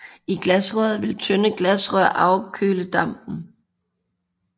I glasrøret vil tynde glasrør afkøle dampen